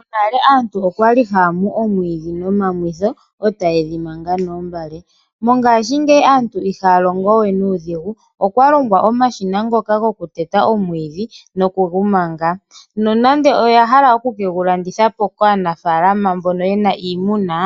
Monale aantu okwali haya mu omwiidhi nomamwitho, e tayi dhi manga noombale. Mongashingeyi aantu ihaya longo we nuudhigu. Okwalongwa omashina ngono gokuteta omwiidhi, nokugu manga. Nonando oyahala okugulandithapo kaanafaalama mboka yena iimuna,